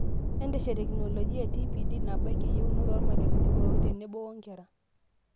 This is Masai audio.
Enteshet tekinoloji e TPD naabaiki iyeunot oormalimuni pookin tenebo wonkera